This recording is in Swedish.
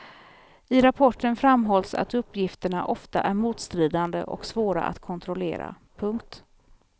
I rapporten framhålls att uppgifterna ofta är motstridande och svåra att kontrollera. punkt